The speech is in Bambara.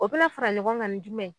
O bɛ na fara ɲɔgɔn ŋa ni jumɛn?